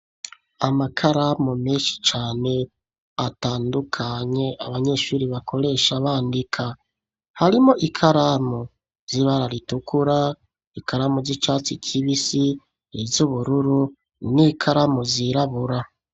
Amakaramu, menshi cane, atandukanye, abanyeshuri bakoresha, bandika; harimwo ikaramu z'ibara ritukura, ikaramu z'icatsi kibisi, iz'ubururu, n'ikaramu zirabura.